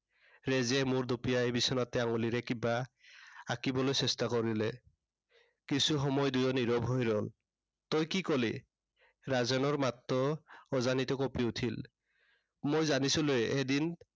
ৰেজিয়াই মূৰ দুপিয়াই বিছনাতে আঙুলিৰে কিবা আঁকিবলৈ চেষ্টা কৰিলে। কিছু সময় দুয়ো নীৰৱ হৈ ৰল। তই কি কলি। ৰাজেনৰ মাতটো অজানিতে কঁপি উঠিল। মই জানিছিলোৱেই এদিন